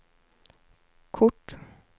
kort